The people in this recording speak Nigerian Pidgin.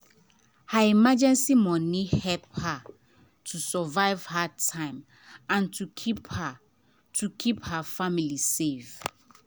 her emergency money help her to survive hard time and to keep her to keep her family safe.